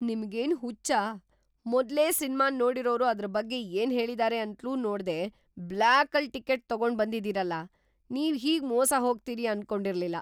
ನಿಮ್ಗೇನ್‌ ಹುಚ್ಚ? ಮೊದ್ಲೇ ಸಿನ್ಮಾನ್‌ ನೋಡಿರೋರು ಅದ್ರ್‌ ಬಗ್ಗೆ ಏನ್ಹೇಳಿದಾರೆ ಅಂತ್ಲೂ ನೋಡ್ದೇ ಬ್ಲ್ಯಾಕಲ್ ಟಿಕೆಟ್‌ ತಗೊಂಡ್ಬಂದಿದೀರಲ! ನೀವ್‌ ಹೀಗ್‌ ಮೋಸ ಹೋಗ್ತೀರಿ ಅನ್ಕೊಂಡಿರ್ಲಿಲ್ಲ.